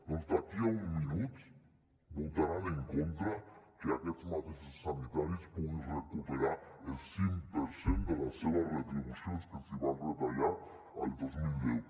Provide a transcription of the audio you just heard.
doncs d’aquí a un minut votaran en contra que aquests mateixos sanitaris puguin recuperar el cinc per cent de les seves retribucions que els van retallar el dos mil deu